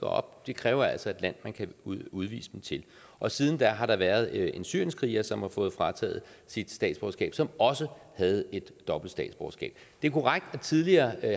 op det kræver altså et land man kan udvise dem til og siden da har der været en syrienskriger som har fået frataget sit statsborgerskab som også havde et dobbelt statsborgerskab det er korrekt at tidligere